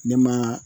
Ne ma